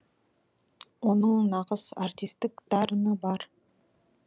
оның нағыз артистік дарыны бар